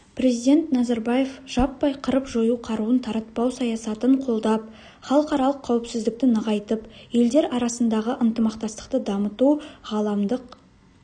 президент назарбаев жаппай қырып-жою қаруын таратпау саясатын қолдап халықаралық қауіпсіздікті нығайтып елдер арасындағы ынтымақтастықты дамыту ғаламдық